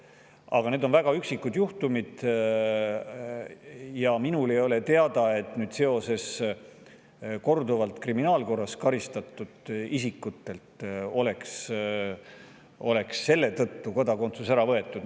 Aga need on väga üksikud juhtumid ja minule ei ole teada, et kriminaalkorras korduvalt karistatud isikutelt oleks selle tõttu kodakondsus ära võetud.